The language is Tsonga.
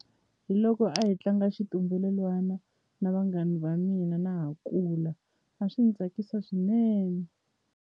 Hi loko a hi tlanga xitumbelelwana na vanghana va mina na ha kula a swi ni tsakisa swinene.